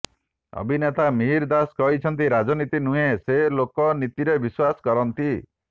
ଅଭିନେତା ମିହିର ଦାସ କହିଛନ୍ତି ରାଜନୀତି ନୁହେଁ ସେ ଲୋକନୀତିରେ ବିଶ୍ୱାସ କରନ୍ତି